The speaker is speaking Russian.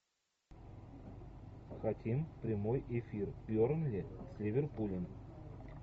хотим прямой эфир бернли с ливерпулем